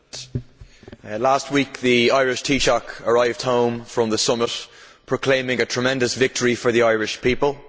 Mr President, last week the Irish Taoiseach arrived home from the summit proclaiming a tremendous victory for the Irish people.